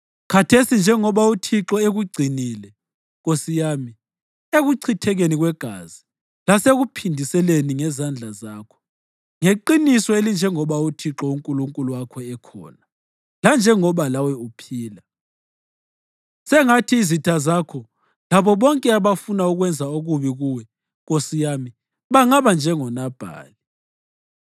Khathesi njengoba uThixo ekugcinile, nkosi yami, ekuchithekeni kwegazi lasekuphindiseleni ngezandla zakho, ngeqiniso elinjengoba uThixo uNkulunkulu wakho ekhona lanjengoba lawe uphila, sengathi izitha zakho labo bonke abafuna ukwenza okubi kuwe nkosi yami bangaba njengoNabhali.